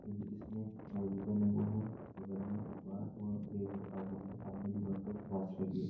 इसने मोजे पेहने हुए है बगल में अखबार और बैग रखा हुआ है सामने दीवार पे एक वाच लगी है।